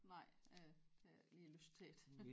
Nej øh ikke lige lyst til det